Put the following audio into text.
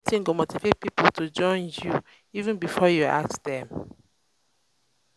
do wetin go motivate pipo to join you you even before you ask dem